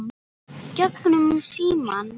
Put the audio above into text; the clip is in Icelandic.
Gegnum símann.